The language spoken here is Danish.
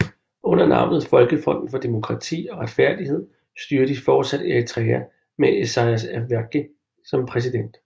Under navnet folkefronten for demokrati og retfærdighed styrer de fortsat Eritrea med Isaias Afwerki som præsident